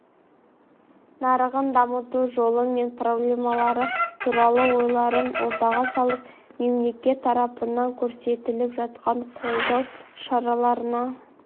нарығын дамыту жолдары мен проблемалары туралы ойларын ортаға салып мемлекет тарапынан көрсетіліп жатқан қолдау шараларына